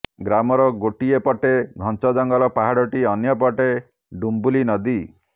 ଗ୍ରାମର ଗୋଟିଏ ପଟେ ଘଞ୍ଚଜଙ୍ଗଲ ପାହାଡ଼ଟି ଅନ୍ୟ ପଟେ ଡିମ୍ବୁଲି ନଦୀ